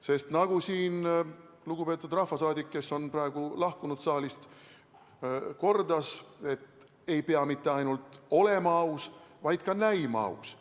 Sest nagu lugupeetud rahvasaadik, kes on praegu saalist lahkunud, kordas, ei pea mitte ainult olema aus, vaid ka näima aus.